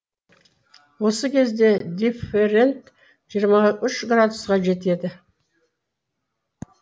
осы кезде дифферент жиырма үш градусқа жетеді